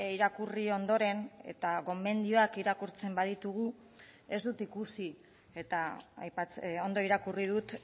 irakurri ondoren eta gomendioak irakurtzen baditugu ez dut ikusi eta ondo irakurri dut